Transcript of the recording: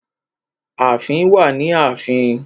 Aláàfin wà ni ààfin.